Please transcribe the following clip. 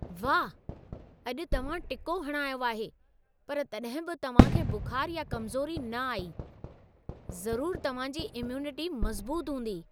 वाह! अॼु तव्हां टिको हणायो आहे पर तॾहिं बि तव्हां खे बुखारु या कमज़ोरी न आई। ज़रूरु तव्हां जी इम्यूनिटी मज़बूत हूंदी!